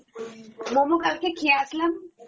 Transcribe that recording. momo কালকে খেয়ে আসলাম